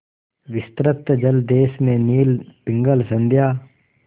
विस्तृत जलदेश में नील पिंगल संध्या